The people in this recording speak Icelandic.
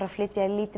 að flytja inn í